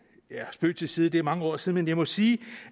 spøg til side det er mange år siden men jeg må sige